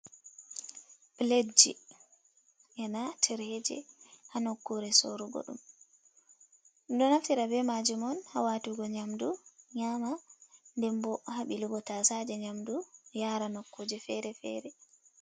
Pilet ji, ena tireje ha nokkure sorugo ɗum. Ɗum ɗon naftira be majum on ha watugo nyamdu nyama, nden bo ha ɓilugo tasaje nyamdu yara nokkuje fere fere.